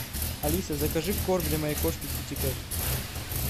алиса закажи корм для моей кошки китикет